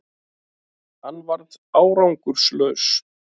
Hann varð árangurslaus